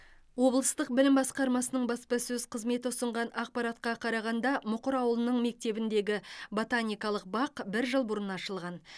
облыстық білім басқармасының баспасөз қызметі ұсынған ақпаратқа қарағанда мұқыр ауылының мектебіндегі ботаникалық бақ бір жыл бұрын ашылған